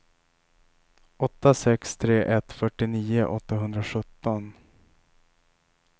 åtta sex tre ett fyrtionio åttahundrasjutton